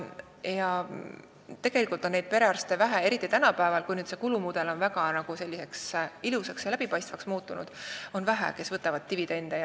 Ja tegelikult on – eriti tänapäeval, kui see kulumudel on muutunud ilusaks ja läbipaistvaks – vähe neid perearste, kes võtavad dividende.